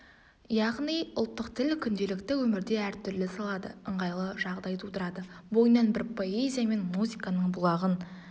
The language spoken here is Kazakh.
яғни ұлттық тіл күнделікті өмірде әртүрлі салады ыңғайлы жағдай тудырады бойынан біз поэзия мен музыканың бұлағын